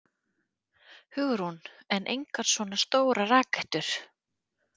Hugrún: En engar svona stórar rakettur?